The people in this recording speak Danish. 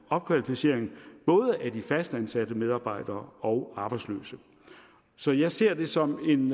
opkvalificering både af de fastansatte medarbejdere og arbejdsløse så jeg ser det som en